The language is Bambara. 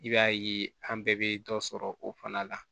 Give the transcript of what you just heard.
I b'a ye an bɛɛ bɛ dɔ sɔrɔ o fana la